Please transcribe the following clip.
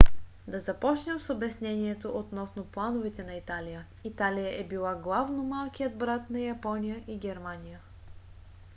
да започнем с обяснението относно плановете на италия. италия е била главно малкият брат на япония и германия